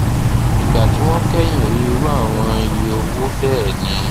ìgbà tí wọn kẹyìn rí irú àwọn iye owó bẹẹ ni